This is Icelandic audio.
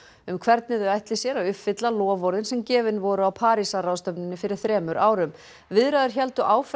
um hvernig þau ætli sér að uppfylla loforðin sem gefin voru á Parísarráðstefnunni fyrir þremur árum viðræður héldu áfram